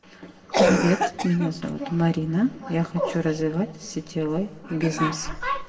привет меня зовут марина я хочу развивать сетевой бизнес